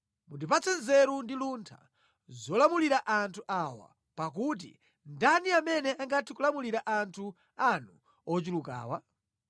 Mundipatse nzeru ndi luntha zolamulira anthu awa, pakuti ndani amene angathe kulamulira anthu anu ochulukawa?”